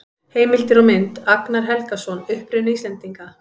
Heimildir og mynd: Agnar Helgason: Uppruni Íslendinga.